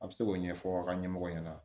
A bɛ se k'o ɲɛfɔ aw ka ɲɛmɔgɔ ɲɛna